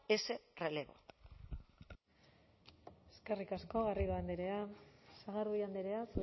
ese relevo eskerrik asko garrido andrea sagardui andrea